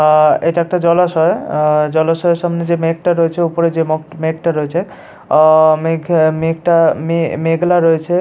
আ এটা একটা জলাশয় অ অ জলাশয়ের সামনে যে মাগ মেঘটা রয়েছে ওপরে যে মেঘটা রয়েছে অ অ অ মেঘ মেঘটা মে মে মেঘলা রয়েছে ।